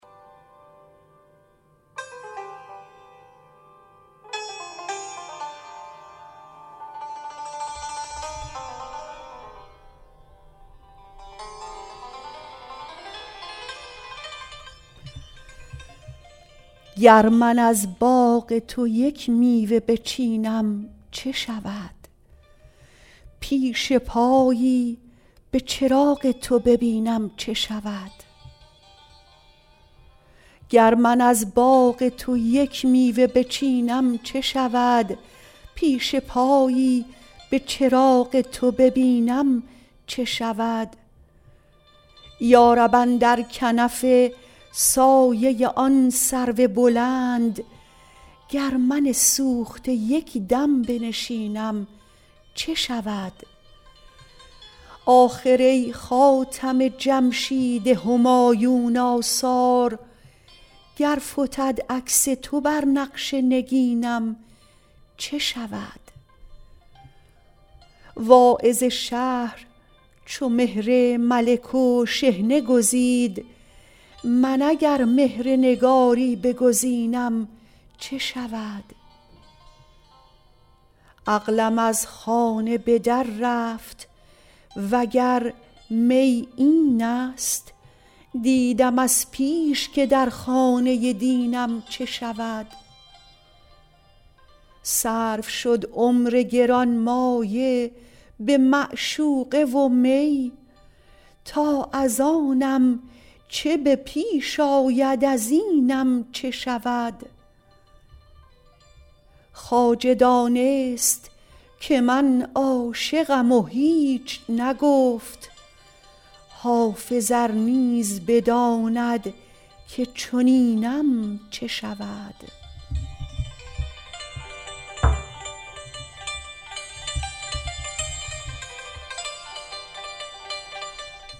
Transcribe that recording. گر من از باغ تو یک میوه بچینم چه شود پیش پایی به چراغ تو ببینم چه شود یا رب اندر کنف سایه آن سرو بلند گر من سوخته یک دم بنشینم چه شود آخر ای خاتم جمشید همایون آثار گر فتد عکس تو بر نقش نگینم چه شود واعظ شهر چو مهر ملک و شحنه گزید من اگر مهر نگاری بگزینم چه شود عقلم از خانه به در رفت وگر می این است دیدم از پیش که در خانه دینم چه شود صرف شد عمر گرانمایه به معشوقه و می تا از آنم چه به پیش آید از اینم چه شود خواجه دانست که من عاشقم و هیچ نگفت حافظ ار نیز بداند که چنینم چه شود